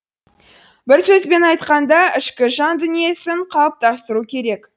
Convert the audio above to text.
бір сөзбен айтқанда ішкі жан дүниесін қалыптастыру керек